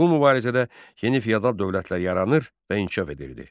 Bu mübarizədə yeni feodal dövlətlər yaranır və inkişaf edirdi.